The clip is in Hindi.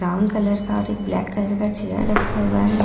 ब्राउन कलर का और एक ब्लैक कलर का चेयर रखा हुआ है।